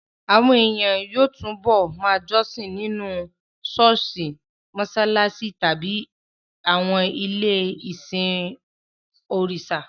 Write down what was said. Àwọn ènìyàn yóò túbọ̀ ma jọ́sìn nínú àwọn ṣọ́ọ̀ṣì, mọṣáláṣí tàbí àwọn ilé-ìsìn òrìṣà